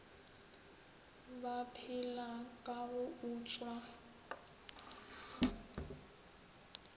ba phela ka go utswa